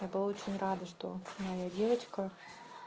я была очень рада что моя девочка